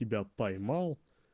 тебя поймал